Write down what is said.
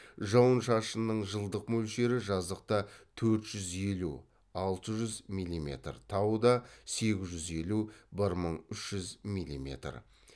жауын шашынның жылдық мөлшері жазықта төрт жүз елу алты жүз милиметр тауда сегіз жүз елу бір мың үш жүз милиметр